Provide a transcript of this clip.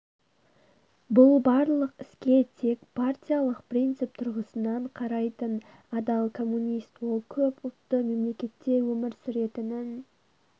бұл барлық іске тек партиялық принцип тұрғысынан қарайтын адал коммунист ол көп ұлтты мемлекетте өмір сүретінін